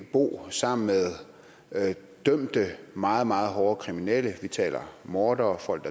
bo sammen med dømte meget meget hårde kriminelle vi taler om mordere folk